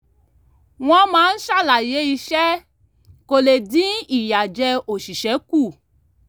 wọ́n máa ń ṣàlàyé iṣẹ́ kó le dín ìyàjẹ́ oṣìṣẹ́ kù